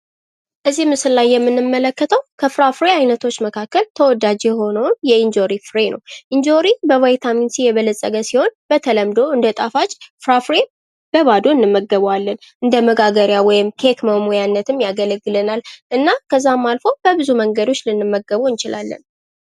እዚህ ምስል ላይ የምንመለከተው ከፍራፍሬ ዓይነቶች መካከል ተወዳጅ የሆነውን የእንጆሪ ፍሬ ነው። ኢንጆሪ በቫይታሚን ሲ የበለፀገ ሲሆን በተለምዶ እንደ ጣፋጭ ፍራፍሬ በባዶ እንመገባለን። እንደ መጋገሪያ ወይም ኬክ ማሟያነት ያገለግላል። እና ከዛም አልፎ በብዙ መንገዶች ልንመግበው እንችላለን።